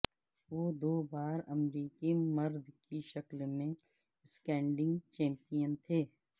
وہ دو بار امریکی مرد کی شکل میں سکیٹنگ چیمپیئن تھے